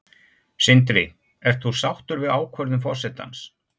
Sindri: Ert þú sáttur við ákvörðun forsetans?